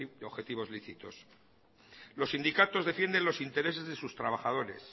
de objetivos lícitos los sindicatos defienden los intereses de sus trabajadores